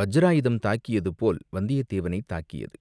வஜ்ராயுதம் தாக்கியது போல் வந்தியத்தேவனைத் தாக்கியது.